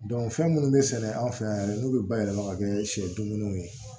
fɛn minnu bɛ sɛnɛ an fɛ yan n'u bɛ bayɛlɛma ka kɛ sɛ dumuniw ye